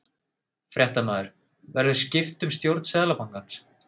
Fréttamaður: Verður skipt um stjórn Seðlabankans?